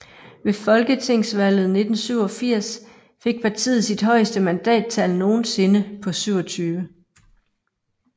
Ved folketingsvalget 1987 fik partiet sit højeste mandattal nogensinde på 27